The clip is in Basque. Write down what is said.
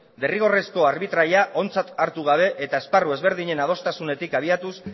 derrigorrezko arbitraia ontzat hartu gabe eta esparru ezberdinen adostasunetik abiatuz